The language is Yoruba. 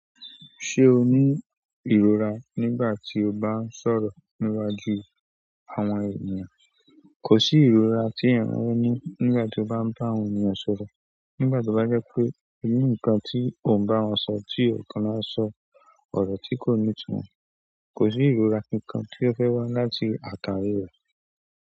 Ṣé o ní ìrora nígbà tí o bá ń sọ̀rọ̀ níwájú àwọn ènìyàn? Kò sí ìrora tí èèyàn yóò ní nígbà tí ó bá ń bá àwọn ènìyàn sọ̀rọ̀. Nígbà tí ó bá jẹ́ pé inú nǹkan tí ò ń bá wọn sọ tí ọ̀kan láa sọ ọ̀rọ̀ tí kò ní itunmọ, kò ní ìrora kankan tí ó fẹ́ wá láti àtàrí rẹ̀.